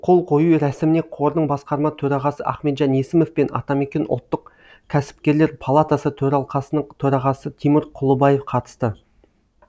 қол қою рәсіміне қордың басқарма төрағасы ахметжан есімов пен атамекен ұлттық кәсіпкерлер палатасы төралқасының төрағасы тимур кұлыбаев қатысты